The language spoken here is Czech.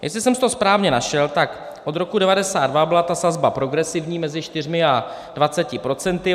Jestli jsem si to správně našel, tak od roku 1992 byla ta sazba progresivní mezi 4 a 20 procenty.